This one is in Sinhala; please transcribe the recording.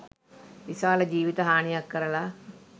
විශාල ජිවිත හානියක් කරලා